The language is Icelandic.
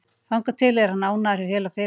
Þangað til er hann ánægður hjá félaginu.